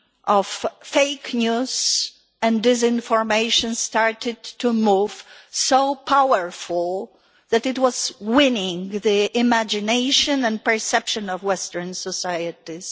of fake news and disinformation started to move, so powerful that it was winning the imagination and perception of western societies.